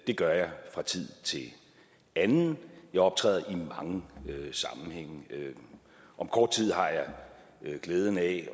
det gør jeg fra tid til anden jeg optræder i mange sammenhænge om kort tid har jeg glæden af